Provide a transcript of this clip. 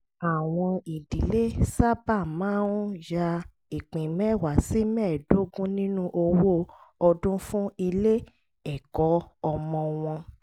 àwọn ìdílé sábà máa ń ya ìpín mẹ́wàá sí mẹ́ẹ̀dógún nínú owó ọdún fún ilé-ẹ̀kọ́ ọmọ wọn